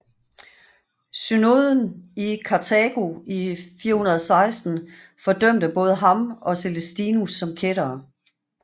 Synoden i Karthago i 416 fordømte både ham og Celestinus som kættere